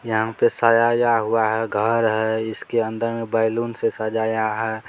यहाँ पे सजाया हुआ है घर है इसके अंदर में बैलून से सजाया है।